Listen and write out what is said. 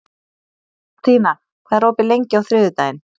Mattína, hvað er opið lengi á þriðjudaginn?